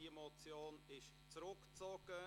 Die Motion ist zurückgezogen.